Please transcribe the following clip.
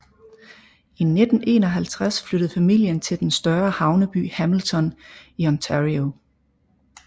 I 1951 flyttede familien til den større havneby Hamilton i Ontario